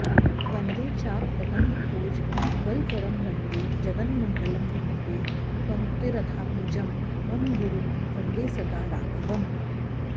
वन्दे चापकदम्बकोज्ज्वलकरं वन्दे जगन्मङ्गलं वन्दे पङ्क्तिरथात्मजं मम गुरुं वन्दे सदा राघवम्